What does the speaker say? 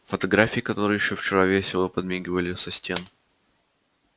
фотографии которые ещё вчера весело подмигивали со стен